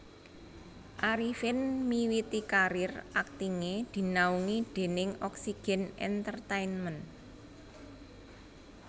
Arifin miwiti karir aktingé dinaungi déning Oxygen Entertainment